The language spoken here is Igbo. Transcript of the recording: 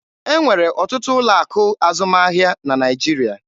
E nwere ọtụtụ ụlọ akụ azụmahịa na Naịjirịa.